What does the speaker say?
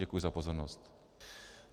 Děkuji za pozornost.